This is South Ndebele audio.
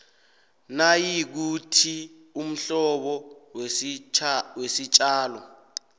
nayikuthi umhlobo wesitjalo